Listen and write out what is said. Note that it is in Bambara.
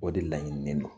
O de laɲininen don